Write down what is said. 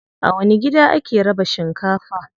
A wani gida ake raba shinkafa?